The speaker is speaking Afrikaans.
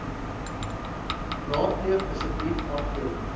raadpleeg asseblief afdeling